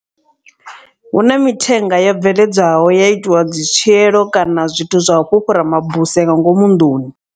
Hu na mithenga yo bveledzwaho ya itiwa dzi tswielo kana zwithu zwa u fhufhura mabuse nga ngomu nḓuni.